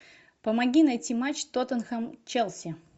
помоги найти матч тоттенхэм челси